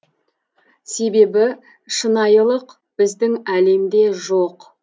себебі шынайылық біздің әлемде жоқ